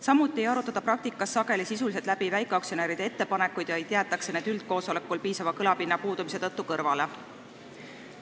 Samuti ei arutata praktikas sageli sisuliselt läbi väikeaktsionäride ettepanekuid, vaid jäetakse need üldkoosolekul piisava kõlapinna puudumise tõttu kõrvale.